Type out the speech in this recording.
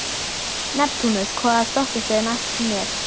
Neptúnus, hvaða stoppistöð er næst mér?